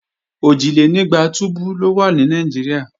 Òjìlénígba túbú ló wà ní Nàìjíríà